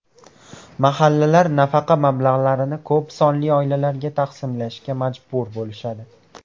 Mahallalar nafaqa mablag‘larini ko‘p sonli oilalarga taqsimlashga majbur bo‘lishadi.